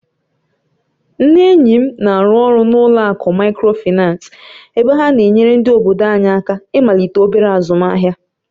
Nne enyi m na-arụ ọrụ n'ụlọ akụ Micròfaị́nace, ebe ha na-enyere ndị obodo anyị aka ịmalite obere azụmahịa.